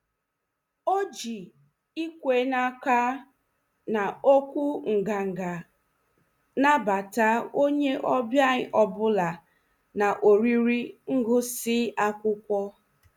O ji ikwe n'aka na okwu nganga nabata onye ọbịa ọ bụla na oriri ngụsị akwụkwọ.